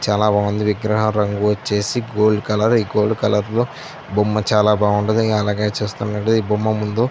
చాల బాగుంది విగ్రహ రంగు వచ్చేసి గోల్డ్ కలర్ . ఈ గోల్డ్ కలర్ లో బొమ్మ చాల బాగుంది. అలాగే చూస్తున్నట్లైతే బొమ్మ ముందు --